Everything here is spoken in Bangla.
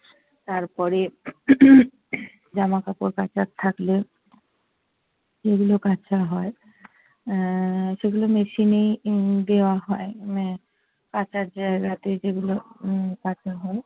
তারপরে জামাকাপড় কাচার থাকলে সেগুলো কাচা হয়। আহ সেগুলো machine এই দেওয়া হয়। কাচার জায়গাতে যেগুলো উম কাচা হয়।